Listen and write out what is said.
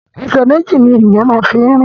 Ẹsẹ̀ méjì ni ènìyàn fi máa ń rìn